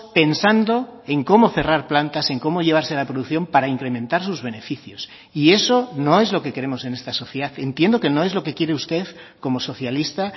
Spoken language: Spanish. pensando en cómo cerrar plantas en cómo llevarse la producción para incrementar sus beneficios y eso no es lo que queremos en esta sociedad entiendo que no es lo que quiere usted como socialista